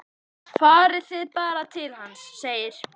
Farið þið bara til hans, segir